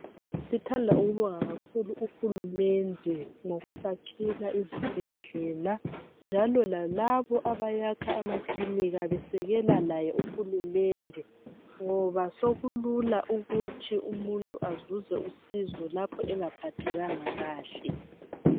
Sithanda ukubonga kakhulu uhulumende ngokusakhela izibhedlela njalo lalabo abayakha amakilinika basekela laye uhulumende ngoba sokulula ukuthi umuntu azuze usizo lapho engaphathekanga kahle.